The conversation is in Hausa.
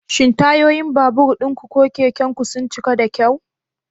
Shin tayoyin babur ɗinku ko keken ku sun cika da kyau?